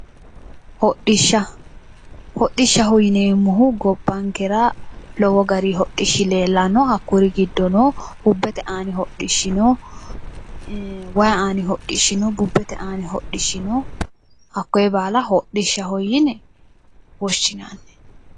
Hodhishsha hodhishshaho yineemmohu gobbankera lowo gari hodhishshi leellanno hakkuri giddono bubbete aani hodhishshi no wayi aani hodhishshi no bubbete aani hodhishshi no hakkoye baala hodhishshaho yine woshshinanni